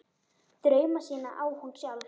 Drauma sína á hún sjálf.